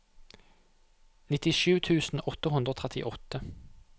nittisju tusen åtte hundre og trettiåtte